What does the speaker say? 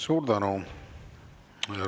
Suur tänu!